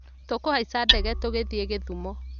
Tũkũhaica ndege tũkĩthiĩ Gĩthumo